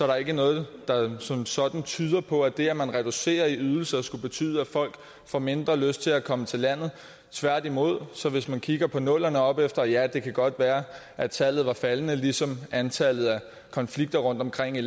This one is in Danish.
der ikke noget der som sådan tyder på at det at man reducerer i ydelser skulle betyde at folk får mindre lyst til at komme til landet tværtimod hvis man kigger på nullerne og opefter ja det kan godt være at tallet var faldende ligesom antallet af konflikter rundtomkring i